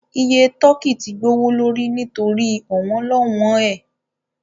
Iye tọ́kì tí gbowó lórí nítorí ọ̀wọ́n-lọ́wọn ẹ